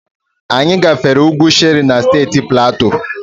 Anyị gafere ugwu Shere na Steeti Platu.